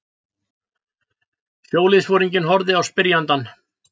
Sjóliðsforinginn horfði á spyrjandann.